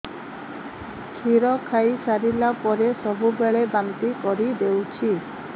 କ୍ଷୀର ଖାଇସାରିଲା ପରେ ସବୁବେଳେ ବାନ୍ତି କରିଦେଉଛି